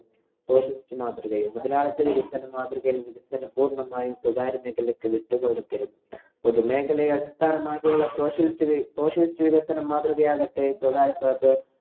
socialist മാതൃകയും. മുതലാളിത്ത വികസന മാതൃകയില്‍ വികസനം പൂര്‍ണ്ണമായും സ്വകാര്യ മേഖലയ്ക്കു വിട്ടു കൊടുത്തിരുന്നു. പൊതുമേഖലയെ അടിസ്ഥാനമാക്കിയിട്ടുള്ള socialist socialist വികസന മാതൃകയാകട്ടെ